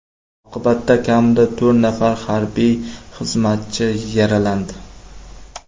Oqibatda kamida to‘rt nafar harbiy xizmatchi yaralandi.